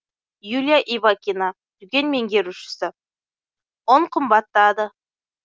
юлия ивакина дүкен меңгерушісі ұн қымбаттады